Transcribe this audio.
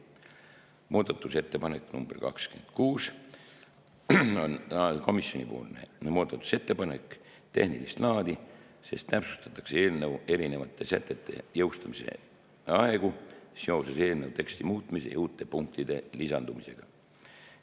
Muudatusettepanek nr 26 on komisjoni muudatusettepanek, see on tehnilist laadi, sest täpsustatakse eelnõu erinevate sätete jõustumise aegu seoses eelnõu teksti muutumise ja uute punktide lisandumisega.